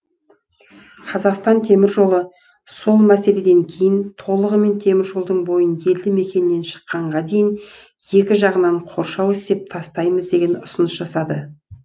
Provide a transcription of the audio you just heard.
қазақстан теміржолы сол мәселеден кейін толығымен теміржолдың бойын елді мекеннен шыққанға дейін екі жағынан қоршау істеп тастаймыз деген ұсыныс жасады